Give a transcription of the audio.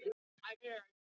Fór ég þess á leit við